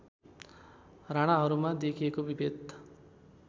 राणाहरूमा देखिएको विभेद